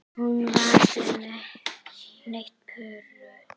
Hún virkar nett pirruð.